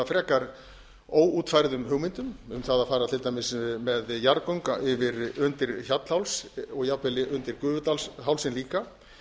frekar óútfærðum hugmyndum um það að fara til dæmis með jarðgöng undir hjallháls og jafnvel undir gufudalshálsinn líka